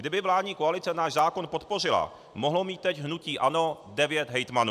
Kdyby vládní koalice náš zákon podpořila, mohlo mít teď hnutí ANO devět hejtmanů.